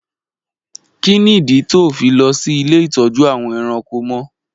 Kí nìdí tí óò fi lọ sí ilé ìtọ́jú àwọn ẹranko mọ?